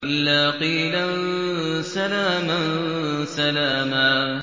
إِلَّا قِيلًا سَلَامًا سَلَامًا